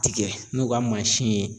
Tigɛ n'u ka mansin ye